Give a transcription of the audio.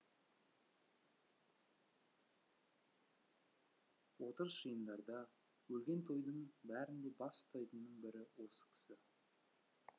отырыс жиындарда өлген тойдың бәрінде бас ұстайтынның бірі осы кісі